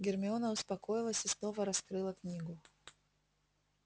гермиона успокоилась и снова раскрыла книгу